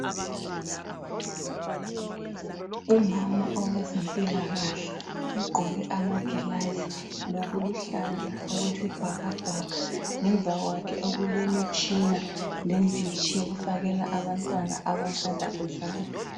Umama owezempilakahle ugqoke amagilazi, lokuluhlaza okwesibhakabhaka. Ngemva kwakhe okulemitshina lenditshi eyokufakela abantwana abasanda kuzalwa.